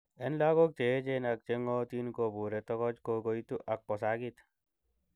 En logok cheyeechen ak chegong'otin, kobure tokoch kokoitu ak kosakit.